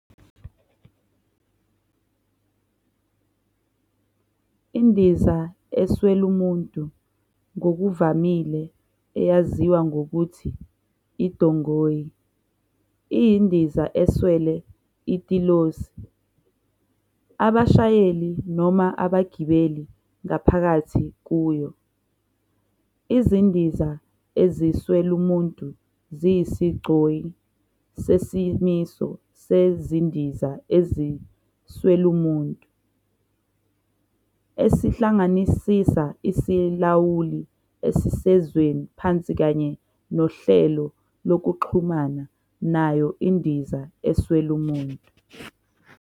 INdiza eswelumuntu, ngokuvamile eyaziwa ngokuthi iDongoyi, iyindiza eswele itilosi, abashayeli noma abagibeli ngaphakathi kuyo. Izindiza eziswelumuntu ziyisigcoyi sesimiso sezindiza eziswelumuntu, esihlanganisa isilawuli esisezweni phansi kanye nohlelo lokuxhumana nayo indiza eswelumuntu.